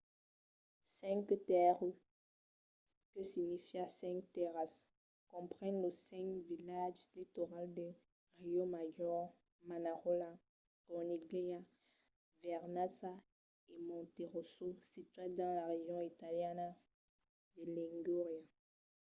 cinque terre que significa cinc tèrras compren los cinc vilatges litorals de riomaggiore manarola corniglia vernazza e monterosso situats dins la region italiana de ligúria